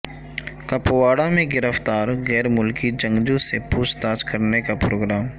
کپواڑہ میں گرفتار غیر ملکی جنگجو سے پوچھ تاچھ کرنے کا پروگرام